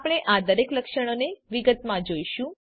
આપણે આ દરેક લક્ષણોને વિગતમાં જોઈશું